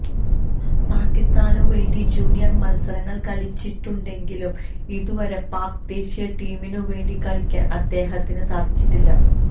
പാകിസ്താനുവേണ്ടി junior മത്സരങ്ങള് കളിച്ചിട്ടുണ്ടെങ്കിലും ഇതുവരെ പാക് ദേശീയ ടീമിനുവേണ്ടി കളിക്കാന് അദ്ദേഹത്തിന് സാധിച്ചിട്ടില്ല